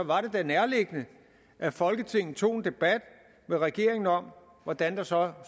var det da nærliggende at folketinget tog en debat med regeringen om hvordan der så